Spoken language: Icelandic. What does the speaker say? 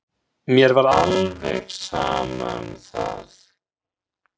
Mér var alveg sama um það.